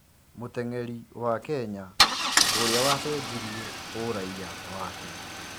Mũteng'eri wa Kenya ũria wacenjirie ũraiya wake.